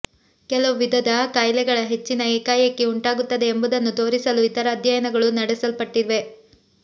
ಕೆಲವು ವಿಧದ ಕಾಯಿಲೆಗಳ ಹೆಚ್ಚಿನ ಏಕಾಏಕಿ ಉಂಟಾಗುತ್ತದೆ ಎಂಬುದನ್ನು ತೋರಿಸಲು ಇತರ ಅಧ್ಯಯನಗಳು ನಡೆಸಲ್ಪಟ್ಟಿವೆ